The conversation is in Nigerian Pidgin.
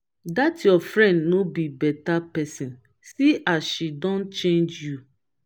dat your friend no be beta person see as she don change you